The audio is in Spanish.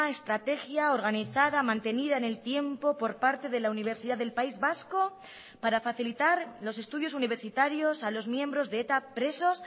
estrategia organizada mantenida en el tiempo por parte de la universidad del país vasco para facilitar los estudios universitarios a los miembros de eta presos